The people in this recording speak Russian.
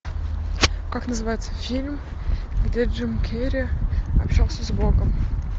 как называется фильм где джим керри общался с богом